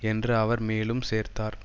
என்று அவர் மேலும் சேர்த்தார்